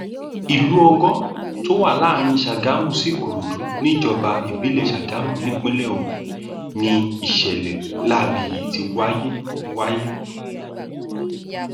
ìlú ọgjọ tó wà láàrin sàgámù sí ìkòròdú níjọba ìbílẹ sàgámù nípínlẹ ogun ni ìṣẹlẹ láabi yìí ti wáyé wáyé